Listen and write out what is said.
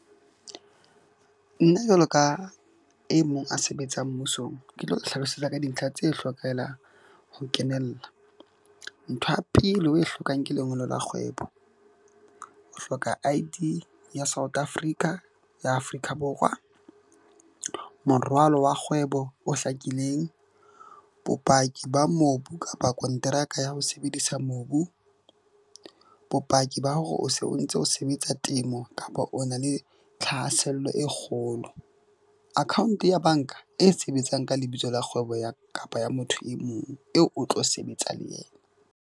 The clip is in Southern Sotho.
Nna jwalo ka e mong a sebetsang mmusong, ke tlo hlalosetsa ka dintlha tse hlokehelang ho kenella. Ntho ya pele o e hlokang ke lengolo la kgwebo. O hloka I_D ya South Africa ya Afrika Borwa. Morwalo wa kgwebo o hlakileng, bopaki ba mobu kapa konteraka ya ho sebedisa mobu, bopaki ba hore o se o ntse o sebetsa temo kapa o na le thahasello e kgolo. Account-e ya bank-a e sebetsang ka lebitso la kgwebo ya kapa ya motho e mong eo o tlo sebetsang le yena.